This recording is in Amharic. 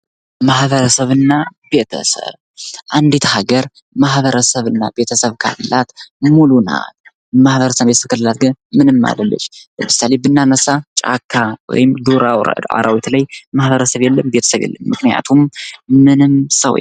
ማህበረሰብ እና ቤተሰብ ፦ አንድት ሀገር ማህበረሰብ እና ቤተሰብ ካላት ሙሉ ናት። ማህበረሰብ ከሌላት ግን ምንም አይደለች። ለምሳሌ ብናነሳ ጫካ ወይም የዱር አራዊት ላይ ማህበረሰብ የለም። ቤተሰብ የለም። ምክንያቱም ምንም ሰው የለም።